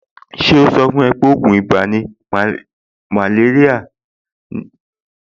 Ṣé ó sọ fún ẹ pé ògùn ibà àti màléríà ni Lumatem